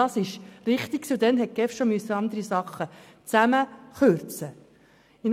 Das war richtig so, und bereits damals musste die GEF andere Dinge zusammenkürzen.